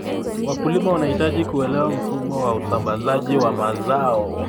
Wakulima wanahitaji kuelewa mfumo wa usambazaji wa mazao.